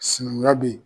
Sinankunya be yen